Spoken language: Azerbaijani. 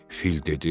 Fil dedi.